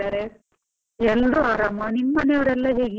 ಎಲ್ರು ಆರಾಮ, ನಿಮ್ ಮನೆಯವ್ರೆಲ್ಲ ಹೇಗಿದ್ದಾರೆ?